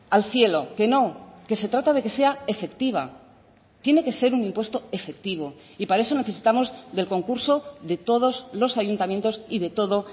al cielo que no que se trata de que sea efectiva tiene que ser un impuesto efectivo y para eso necesitamos del concurso de todos los ayuntamientos y de todo